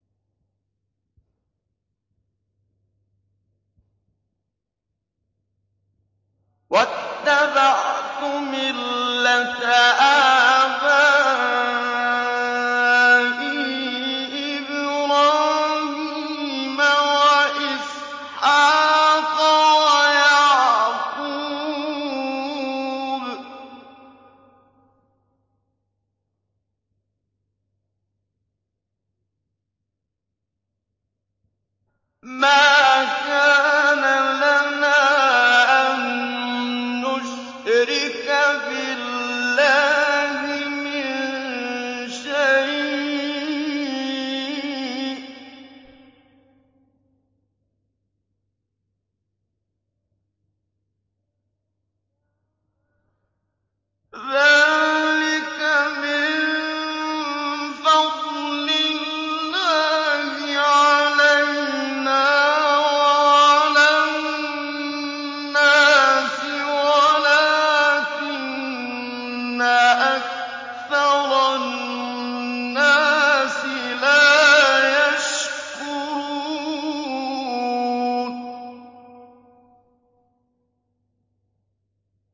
وَاتَّبَعْتُ مِلَّةَ آبَائِي إِبْرَاهِيمَ وَإِسْحَاقَ وَيَعْقُوبَ ۚ مَا كَانَ لَنَا أَن نُّشْرِكَ بِاللَّهِ مِن شَيْءٍ ۚ ذَٰلِكَ مِن فَضْلِ اللَّهِ عَلَيْنَا وَعَلَى النَّاسِ وَلَٰكِنَّ أَكْثَرَ النَّاسِ لَا يَشْكُرُونَ